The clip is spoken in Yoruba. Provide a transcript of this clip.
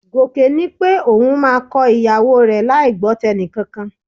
Gòkè ní pé òun máa kọ ìyàwó rẹ láì gbọ́ tẹnìkankan